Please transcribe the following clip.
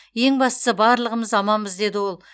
ең бастысы барлығымыз аманбыз деді ол